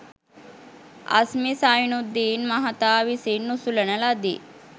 අස්මි සයිනුද්දීන් මහතා විසින් උසුලන ලදී